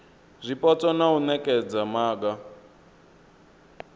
zwipotso na u nekedza maga